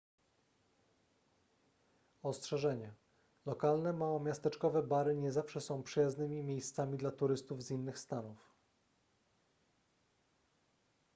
ostrzeżenie lokalne małomiasteczkowe bary nie zawsze są przyjaznymi miejscami dla turystów z innych stanów